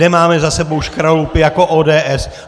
Nemáme za sebou škraloupy jako ODS!